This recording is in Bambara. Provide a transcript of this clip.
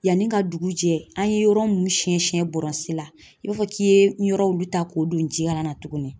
Yanni ka dugu jɛ an ye yɔrɔ minnu siɲɛ siɲɛ la i b'a fɔ k'i ye yɔrɔ wulu ta k'o don jikala na tuguni